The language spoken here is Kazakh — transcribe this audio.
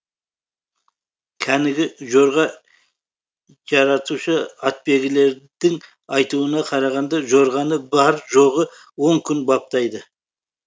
кәнігі жорға жаратушы атбегілердің айтуына қарағанда жорғаны бар жоғы он күн баптайды